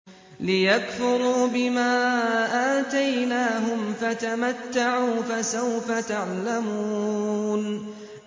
لِيَكْفُرُوا بِمَا آتَيْنَاهُمْ ۚ فَتَمَتَّعُوا فَسَوْفَ تَعْلَمُونَ